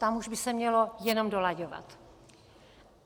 Tam už by se mělo jenom dolaďovat.